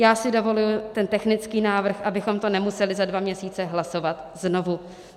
Já si dovoluji ten technický návrh, abychom to nemuseli za dva měsíce hlasovat znovu.